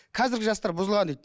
қазіргі жастар бұзылған дейді